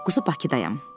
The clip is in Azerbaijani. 29-u Bakıdayam.